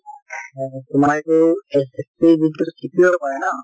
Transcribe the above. হয় তোমাৰ এইটো SSC ৰ যিটো CPO কয় ন